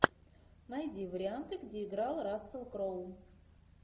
найди варианты где играл рассел кроу